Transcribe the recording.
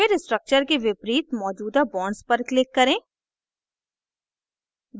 फिर structure के विपरीत मौजूदा bonds पर click करें